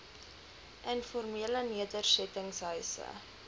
informele nedersetting huise